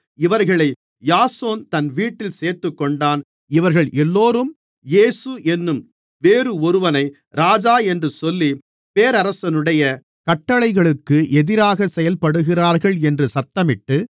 இவர்களை யாசோன் தன் வீட்டில் சேர்த்துக்கொண்டான் இவர்கள் எல்லோரும் இயேசு என்னும் வேறு ஒருவனை ராஜா என்று சொல்லி பேரரசனுடைய கட்டளைகளுக்கு எதிராக செயல்படுகிறார்கள் என்று சத்தமிட்டு